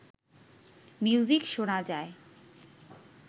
music শোনা যায়